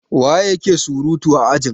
waye yake surutu a ajin?